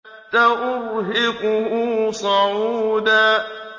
سَأُرْهِقُهُ صَعُودًا